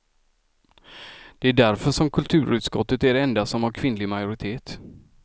Det är därför som kulturutskottet är det enda som har kvinnlig majoritet.